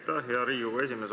Aitäh, hea Riigikogu esimees!